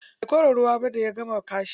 Bai kora ruwa ba da ya gama kashi.